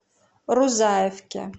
рузаевке